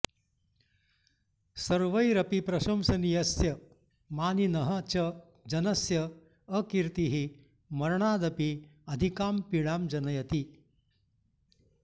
सर्वैरपि प्रशंसनीयस्य मानिनः च जनस्य अकीर्तिः मरणादपि अधिकां पीडां जनयति